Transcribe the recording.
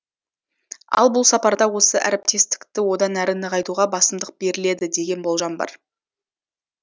ал бұл сапарда осы әріптестікті одан әрі нығайтуға басымдық беріледі деген болжам бар